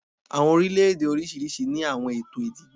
Awọn orilẹ-ede oriṣiriṣi ni awọn eto idibo